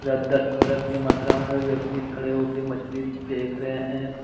इधर दस पंद्रह के मात्र में व्यक्ति खड़े होकर देख रहे हैं।